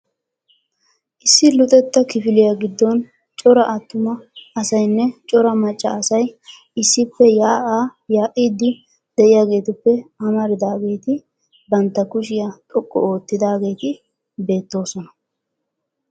Issi Luxetta kifiliyaa giddooni cora attumma asayinne cora macca asay issippe yaa'aa yaa'iiddi de'iyaageetuppe amaridaageeti bantta kushiya xoqqu oottidaageeti beettoosona.